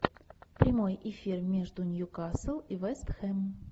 прямой эфир между ньюкасл и вест хэм